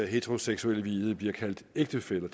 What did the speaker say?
heteroseksuelle bliver kaldt ægtefæller